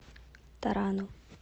тарану